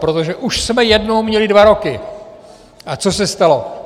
Protože už jsme jednou měli dva roky a co se stalo?